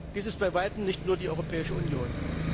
Dies ist bei weitem nicht nur die Europäische Union.